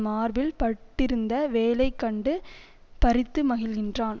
மார்பில் பட்டிருந்த வேலை கண்டு பறித்து மகிழ்கின்றான்